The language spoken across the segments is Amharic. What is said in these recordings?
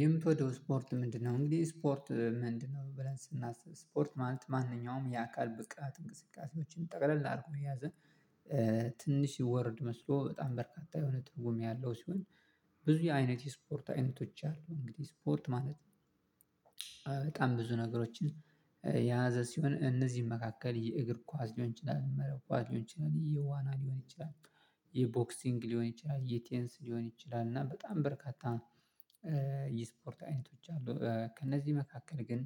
"የምትወደው ስፖርት ምንድነው?" እንግዲህ "ስፖርት ምንድነው?" ብለን ስናስብ፤ ስፖርት ማለት ማንኛውም የአካል ብቃት እንቅስቃሴዎችን ጠቅለል አድርጎ የያዘ ትንሽዬ ወርድ መስሎ በጣም በርካታ የሆነ ትርጉም ያለው ሲሆን፤ ብዙ የአይነት የስፖርት አይነቶች አሉ። እንግዲህ ስፖርት ማለት በጣም ብዙ ነገሮችን የያዘ ሲሆን እነዚህም መካከል የእግር ኳስ ሊሆን ይችላል፣ መረብ ኳስ ሊሆን ይችላል፣ የዋና ሊሆን ይችላል፣ የቦክሲንግ ሊሆን ይችላል፣ የቴንስ ሊሆን ይችላል፤ እና በጣም በርካታ የስፖርት አይነቶች አሉ። ከእነዚህ መካከል ግን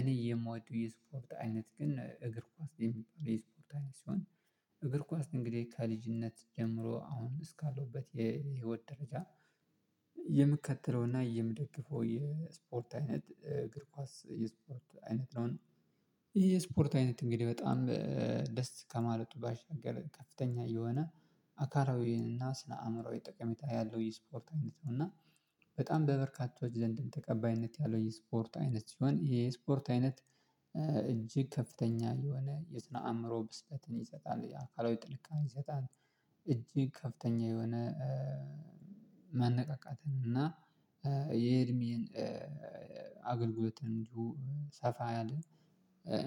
እኔ የምወደው የስፖርት አይነት ግን እግር ኳስ የሚባል የስፖርት አይነት ሲሆን እግር ኳስ እንግዲህ ከልጅነት ጀምሮ አሁን እስካለሁበት የህይወት ደረጃ የምከትለውና የምደግፈው የስፖርት አይነት እግር ኳስ የስፖርት አይነት ነው፤ እና ይሄ የስፖርት አይነት እንግዲህ በጣም ደስ ከማለቱ ባሻገር ከፍተኛ የሆነ አካላዊ እና ስነ አእምሮአዊ ጠቀሜታ ያለው የስፖርት አይነት ነው፤ እና በጣም በበርካቶች ዘንድም ተቀባይነት ያለው የስፖርት አይነት ሲሆን ይሄ የስፖርት አይነት እጅግ ከፍተኛ የሆነ የስነ አእምሮ ብስለትን ይሰጣል፤ የአካላዊ ጥልቅም ይሰጣል፤ እጅግ ከፍተኛ የሆነ ማነቃቃትን እና የእድሜን አገልግሎት እንዲሁ ሰፋ ያለ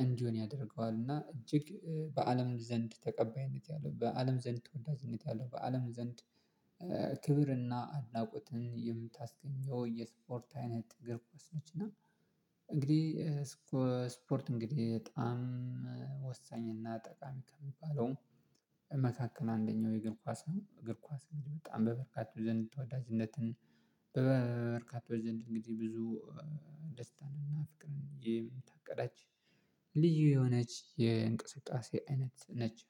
እንዲሆን ያደርገዋል እና እጅግ በአለም ዘንድ ተቀባይነት ያለው በአለም ዘንድ ተወዳጅነት ያለው በአለም ዘንድ ክብርና አድናቆትን የምታስገኘው የስፖርት አይነት እግር ኳስ ነች እና እንግዲህ ስፖ ስፖርት እንግዲህ በጣም ወሳኝና ጠቃሚ ከሚባለው መካከል አንደኛው የእግር ኳስ ነው። እግር ኳስ እንግዲህ በጣም በበርካቶች ዘንድ ተወዳጅነትን በበርካቶች ዘንድ እንግዲህ ብዙ ደስታንና ፍቅርን የምታቀዳጅ ልዩ የሆነች የእንቅስቃሴ አይነት ነች።